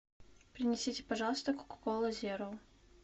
принесите пожалуйста кока кола зеро